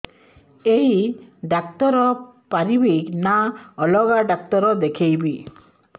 ଏଇ ଡ଼ାକ୍ତର ପାରିବେ ନା ଅଲଗା ଡ଼ାକ୍ତର ଦେଖେଇବି